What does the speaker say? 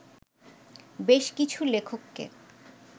বেশ কিছু লেখককে